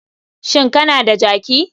Shin kana da jaki?